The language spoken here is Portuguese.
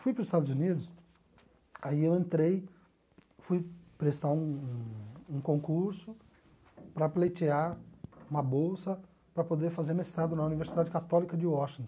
Fui para os Estados Unidos, aí eu entrei, fui prestar um um concurso para pleitear uma bolsa para poder fazer mestrado na Universidade Católica de Washington.